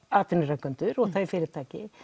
atvinnurekendur og fyrirtæki